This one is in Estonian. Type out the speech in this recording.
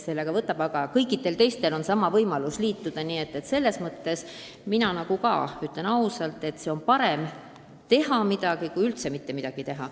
Samas on kõikidel teistel samuti võimalus liituda ja mina arvan, et parem on teha midagigi kui üldse mitte midagi teha.